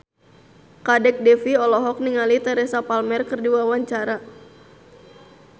Kadek Devi olohok ningali Teresa Palmer keur diwawancara